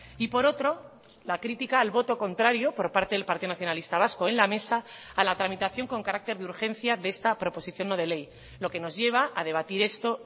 y por otro la crítica al voto contrario por parte del partido nacionalista vasco en la mesa a la tramitación con carácter de urgencia de esta proposición no de ley lo que nos lleva a debatir esto